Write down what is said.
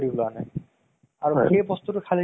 কিবা গান টো এনʼকা আছিলে